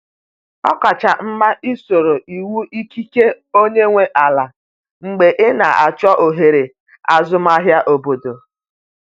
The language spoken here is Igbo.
Ọ kacha mma isoro iwu ikike onye nwe ala mgbe ị na-achọ ohere azụmahịa obodo.